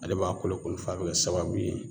Ale b'a kolo kunu f'a be kɛ sababu ye